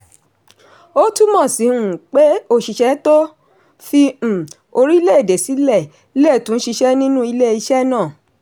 ó túmọ̀ sí um pé oṣìṣẹ́ tó fi um orílẹ̀-èdè sílẹ̀ le tún ṣiṣẹ́ nínú ilé-iṣẹ́ náà.